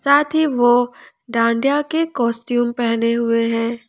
साथ ही वो डांडिया के कौसटीउम पहने हुए हैं।